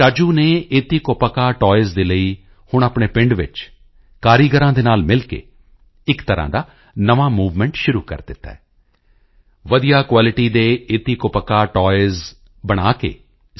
ਰਾਜੂ ਨੇ ਏਤਿਕੋਪੱਕਾ ਟਾਇਜ਼ ਦੇ ਲਈ ਹੁਣ ਆਪਣੇ ਪਿੰਡ ਵਿੱਚ ਕਾਰੀਗਰਾਂ ਦੇ ਨਾਲ ਮਿਲ ਕੇ ਇੱਕ ਤਰ੍ਹਾਂ ਦਾ ਨਵਾਂ ਮੂਵਮੈਂਟ ਸ਼ੁਰੂ ਕਰ ਦਿੱਤਾ ਹੈ ਵਧੀਆ ਕੁਆਲਿਟੀ ਦੇ ਏਤਿਕੋਪੱਕਾ ਟਾਇਜ਼ ਬਣਾ ਕੇ ਸੀ